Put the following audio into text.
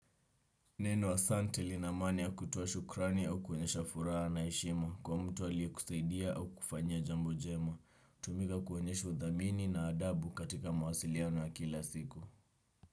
Neno ahsante lina maana ya kutoa shukrani au kuonyesha furaha na heshima kwa mtu aliye kusaidia au kukufanyia jambo jema. Humika kuonyesha udhamini na adabu katika mawasiliano ya kila siku.